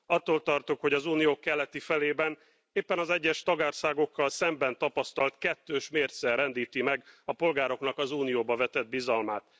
Attól tartok, hogy az Unió keleti felében éppen az egyes tagországokkal szemben tapasztalt kettős mérce rendíti meg a polgároknak az Unióba vetett bizalmát.